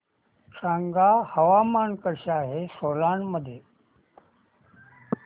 सांगा हवामान कसे आहे सोलान मध्ये